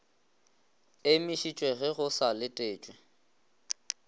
emišitšwe ge go sa letetšwe